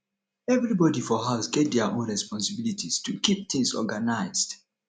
everybody for house get their own responsibilities to keep things organized